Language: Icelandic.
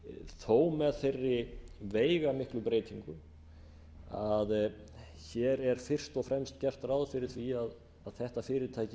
þó með þeirri veigamiklu breytingu að hér er best og fremst gert ráð fyrir því að þetta fyrirtæki